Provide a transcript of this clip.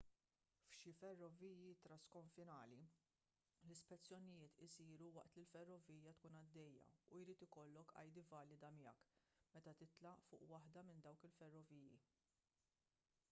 f'xi ferroviji transkonfinali l-ispezzjonijiet isiru waqt li l-ferrovija tkun għaddejja u jrid ikollok id valida miegħek meta titla' fuq waħda minn dawk il-ferroviji